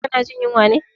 Ka na jin yunwa ne?